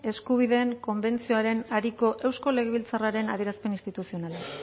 eskubideen konbentzioaren ariko eusko legebiltzarraren adierazpen instituzionala